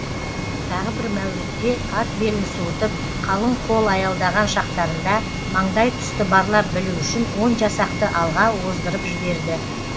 тағы бір мәурітте ат белін суытып қалың қол аялдаған шақтарында маңдай тұсты барлап білу үшін он жасақты алға оздырып жіберді